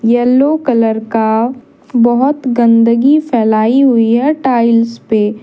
Yellow colour का बहुत गंदगी फैलाई हुई है टाइल्स पे।